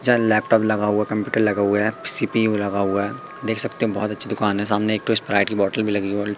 चल लैपटॉप लगा हुआ कंप्यूटर लगा हुआ है सी_पी_यू लगा हुआ है देख सकते हैं बहुत अच्छी दुकान है सामने एक ठो स्प्राइट की बॉटल भी लगी और--